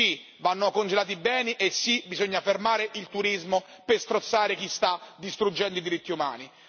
Sì, vanno congelati i beni e sì bisogna fermare il turismo per strozzare chi sta distruggendo i diritti umani.